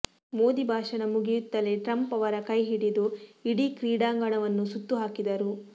ಮೋದಿ ಭಾಷಣ ಮುಗಿಯುತ್ತಲೇ ಟ್ರಂಪ್ ಅವರ ಕೈಹಿಡಿದು ಇಡೀ ಕ್ರೀಡಾಂಗಣವನ್ನು ಸುತ್ತುಹಾಕಿದರು